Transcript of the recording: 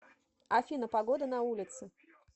афина погода на улице